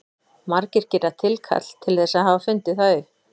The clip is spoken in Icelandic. Margir gera tilkall til þess að hafa fundið það upp.